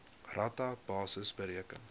rata basis bereken